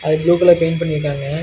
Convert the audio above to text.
அதுக்கு blue colour paint பண்ணிருக்காங்க.